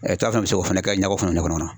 taa min bɛ se k'o fana kɛ ɲɛko fana kɔnɔ